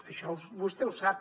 això vostè ho sap